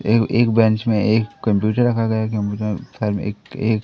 एगो एक बेंच मे एक कम्प्यूटर रखा गया कम्प्यूटर एक एक--